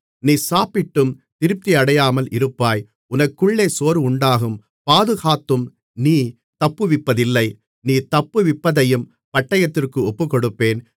நீ சாப்பிட்டும் திருப்தியடையாமல் இருப்பாய் உனக்குள்ளே சோர்வுண்டாகும் பாதுகாத்தும் நீ தப்புவிப்பதில்லை நீ தப்புவிப்பதையும் பட்டயத்திற்கு ஒப்புக்கொடுப்பேன்